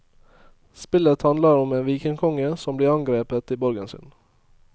Spillet handler om en vikingkonge som blir angrepet i borgen sin.